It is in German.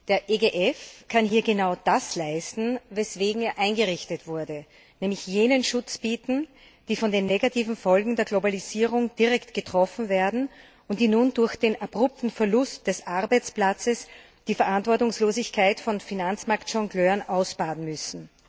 Der EGF kann hier genau das leisten, weswegen er eingerichtet wurde, nämlich jenen Schutz bieten, die von den negativen Folgen der Globalisierung direkt getroffen werden und die nun durch den abrupten Verlust des Arbeitsplatzes die Verantwortungslosigkeit von Finanzmarktjongleuren ausbaden müssen.